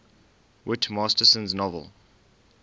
whit masterson's novel